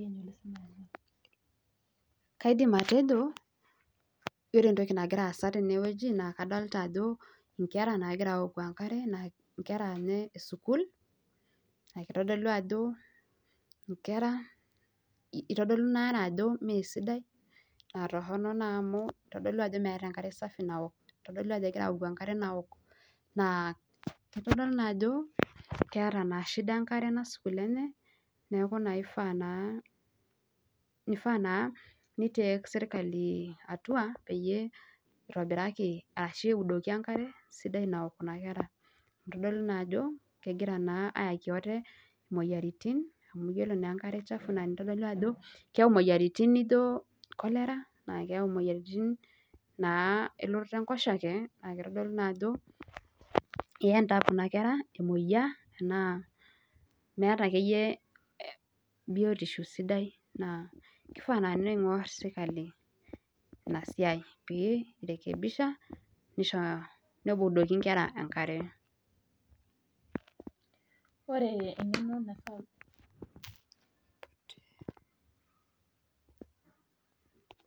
Kaidim atejo ore entoki nagira aasa tene wueji naa kadolita ingera naagira awoku engare naa inesukuul naa kitodolu ajo mee sidai engare naa torhono naa amu meeta enkare safi nawok eitodolu ajo meeta engare sidai nawok naa kitodolu naa ajo keeta naa enyamali enkare ena sukuul neeku naa ifaa naa neidoki serkali enkare nawok kuna kera amu keyaki ate imuoyiaritin amu iyiolo naa ajo kayau enkare suuji imuoyiaritin nijo cholera